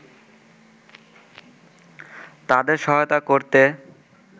তাঁদের সহায়তা করতে